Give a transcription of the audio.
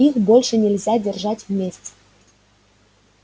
их больше нельзя держать вместе